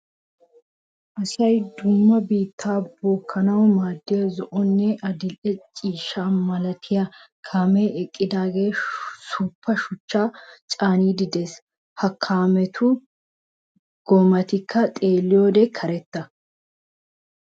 Asay dumma biitttaa bookkanawu maaddiya zo"onne adil"e ciishsha malatiya kaamee equdaagee suuppa shuchchaa caaniidi de"ees. Ha kaametu goommaykka xeelliyode karetta.